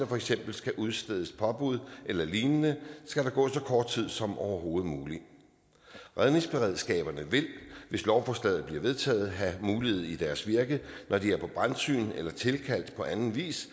for eksempel skal udstedes påbud eller lignende skal der gå så kort tid som overhovedet muligt redningsberedskaberne vil hvis lovforslaget bliver vedtaget have mulighed i deres virke når de er på brandsyn eller tilkaldt på anden vis